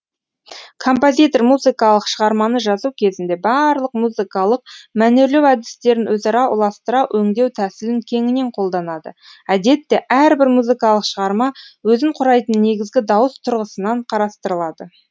композитор музыкалық шығарманы жазу кезінде барлық музыкалық мәнерлеу әдістерін өзара ұластыра өңдеу тәсілін кеңінен қолданады әдетте әрбір музыкалық шығарма өзін құрайтын негізгі дауыс тұрғысынан қарастырылады